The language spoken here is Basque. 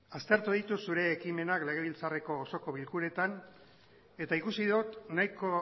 aztertu ditut zure ekimenak legebiltzarreko osoko bilkuretan eta ikusi dut nahiko